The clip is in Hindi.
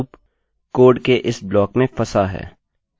यह एक जोड़ेगा और कहिये 3